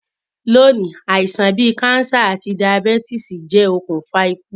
Loní, àisàn bi cancer àti diabetes je okùnfà ikú